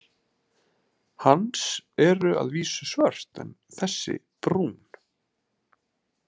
Hans eru að vísu svört en þessi brún.